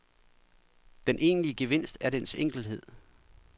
Den egentlige gevinst er dens enkelthed.